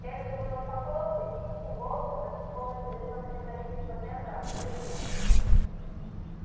эрби уже успокоился и тихим голосом почти полностью лишённым металлического тембра произнёс